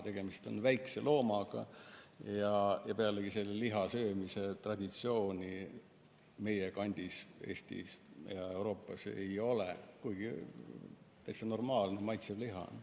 Tegemist on väikse loomaga ja selle liha söömise traditsiooni meie kandis, Eestis ja mujal Euroopas ei ole, kuigi täitsa normaalne, maitsev liha on.